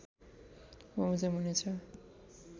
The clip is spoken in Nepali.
बमोजिम हुने छ